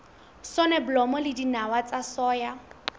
soneblomo le dinawa tsa soya